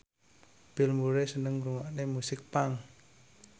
Bill Murray seneng ngrungokne musik punk